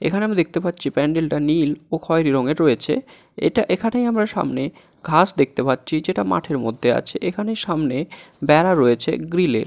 এখানে আমি দেখতে পাচ্ছি প্যান্ডেলটা নীল ও খয়রি রঙের রয়েছে এটা এখানেই আমরা সামনে ঘাস দেখতে পাচ্ছি যেটা মাঠের মধ্যে আছে এখানে সামনে বেড়া রয়েছে গ্রিলের।